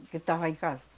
Do que tava em casa.